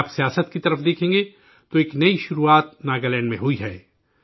اگر آپ سیاست کی طرف دیکھیں گے، تو ایک نئی شروعات ناگالینڈ میں ہوئی ہے